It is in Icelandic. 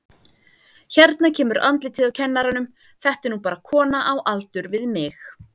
Hérna kemur andlitið á kennaranum, þetta er nú bara kona á aldur við mig.